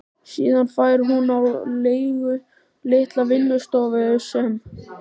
Síðan fær hún á leigu litla vinnustofu sem